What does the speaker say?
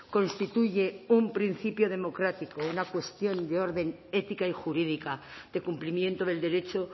constituye un principio democrático una cuestión de orden ética y jurídica de cumplimiento del derecho